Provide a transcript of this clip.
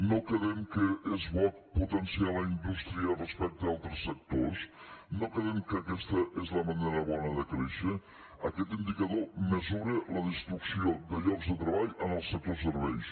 no quedem que és bo potenciar la indústria respecte a altres sectors no quedem que aquesta és la manera bona de créixer aquest indicador mesura la destrucció de llocs de treball en el sector serveis